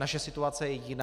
Naše situace je jiná.